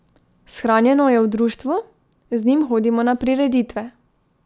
Shranjeno je v društvu, z njim hodimo na prireditve.